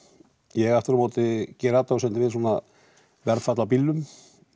ég aftur á móti geri athugasemdir við svona verðfall á bílnum